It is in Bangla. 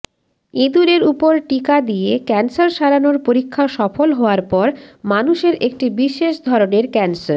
ইঁদুরের উপর টিকা দিয়ে ক্যানসার সারানোর পরীক্ষা সফল হওয়ার পর মানুষের একটি বিশেষ ধরনের ক্যানসার